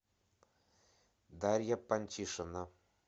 дарья пантишина